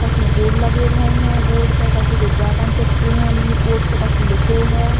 कछु बोर्ड लगे भये हैं। बोर्ड पे कछु विज्ञापन चिपकी है। एक बोर्ड पे कछु लिखो है।